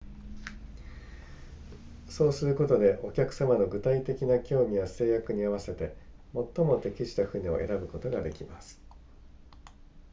そうすることでお客様の具体的な興味や制約に合わせて最も適した船を選ぶことができます